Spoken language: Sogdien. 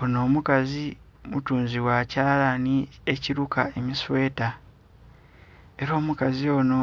Onho omukazi mutunzi gha kyalanhi ekiruka emisweta era omukazi onho